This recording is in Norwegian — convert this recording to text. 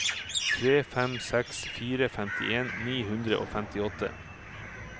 tre fem seks fire femtien ni hundre og femtiåtte